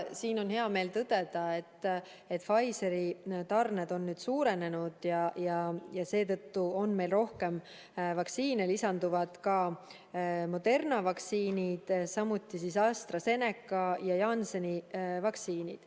On heameel tõdeda, et Pfizeri tarned on suurenenud ja seetõttu on meil rohkem vaktsiine, lisanduvad ka Moderna vaktsiinid, samuti AstraZeneca ja Jansseni vaktsiinid.